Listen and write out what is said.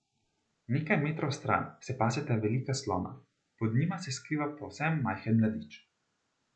Nekaj metrov stran se paseta velika slona, pod njima se skriva povsem majhen mladič.